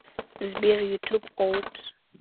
сбер ютуб опус